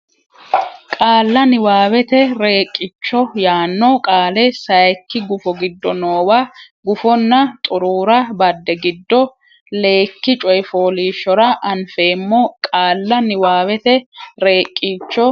Qaalla niwaawete Reeqqicho yaanno qaale sayikki gufo giddo noowa gufonna xuruura badde giddo leyikki coy fooliishshora anfeemmo Qaalla niwaawete Reeqqicho.